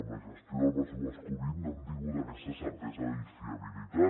amb la gestió del pressupost covid no hem tingut aquesta certesa i fiabilitat